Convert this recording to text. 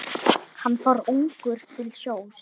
Hann fór ungur til sjós.